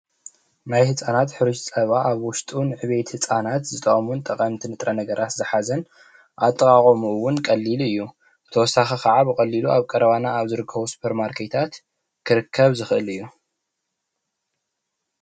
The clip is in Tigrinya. ናይ ህፃናት ሕሩጭ ፀባ ኣብ ዉሽጡ ንዕብየት ህፃናት ዝጠቅሙን ጠቀምቲ ንጥረ ነገራት ዝሓዘን ኣጠቃቅምኡ እዉን ቀሊል እዩ:: ብተውሳኪ ከዓ ብቀሊሉ ኣብ ኣብ ቀረባና ሱፐርማርኬታት ክርከብ ዝክእል እዩ::